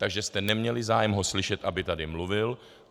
Takže jste neměli zájem ho slyšet, aby tady mluvil.